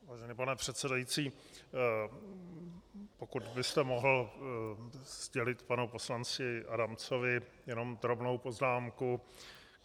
Vážený pane předsedající, pokud byste mohl sdělit panu poslanci Adamcovi jenom drobnou poznámku.